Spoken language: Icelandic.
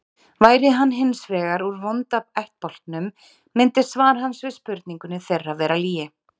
Væri hann hins vegar úr vonda ættbálknum myndi svar hans við spurningu þeirra vera lygi.